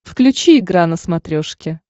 включи игра на смотрешке